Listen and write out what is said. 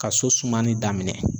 Ka so sumali daminɛ.